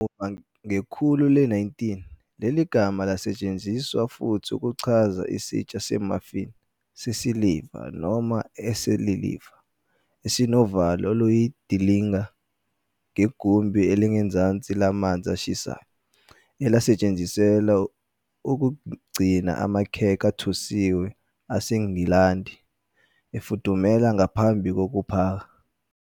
Kamuva, ngekhulu le-19, leli gama lasetshenziswa futhi ukuchaza "isitsha se-muffin" sesiliva, noma esesiliva, esinovalo oluyindilinga negumbi elingezansi lamanzi ashisayo, elalisetshenziselwa ukugcina amakhekhe athosiwe aseNgilandi efudumele ngaphambi kokuphaka.